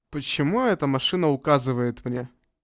почему эта машина указывает мне